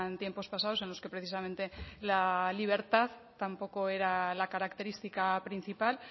tiempos pasados en los que precisamente la libertad tampoco era la característica principal